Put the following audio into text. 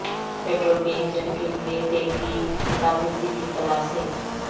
petrol کے engine کے لئے تیل کی کارکردگی کی کلاسیں